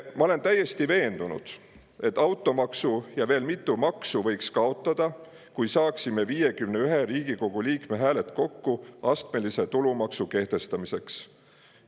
Ma olen täiesti veendunud, et automaksu ja veel mitu maksu võiks kaotada, kui saaksime kokku 51 Riigikogu liikme hääled astmelise tulumaksu kehtestamiseks.